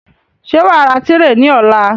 Ṣé wàá ra tírè ní ọ̀la?